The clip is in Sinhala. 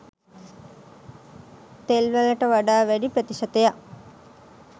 තෙල් වලට වඩා වැඩි ප්‍රතිශතයක්